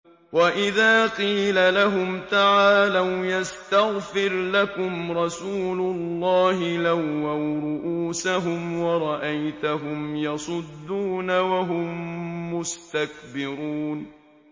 وَإِذَا قِيلَ لَهُمْ تَعَالَوْا يَسْتَغْفِرْ لَكُمْ رَسُولُ اللَّهِ لَوَّوْا رُءُوسَهُمْ وَرَأَيْتَهُمْ يَصُدُّونَ وَهُم مُّسْتَكْبِرُونَ